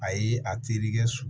A ye a terikɛ so